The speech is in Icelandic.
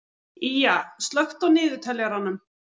Ýja, slökktu á niðurteljaranum.